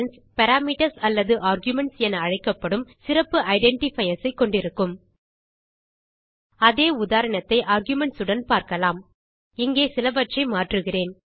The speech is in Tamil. பாராமீட்டர்ஸ் அல்லது ஆர்குமென்ட்ஸ் என அழைக்கப்படும் சிறப்பு ஐடென்டிஃபயர்ஸ் ஐ கொண்டிருக்கும் அதே உதாரணத்தை ஆர்குமென்ட்ஸ் உடன் பார்க்கலாம் இங்கே சிலவற்றை மாற்றுகிறேன்